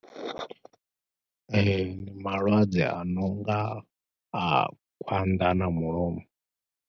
Ee, ndi malwadze a no nga a khwanḓa na mulomo.